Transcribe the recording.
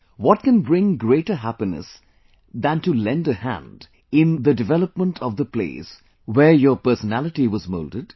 What can bring greater happiness than to lend a hand in development of the place where your personality was moulded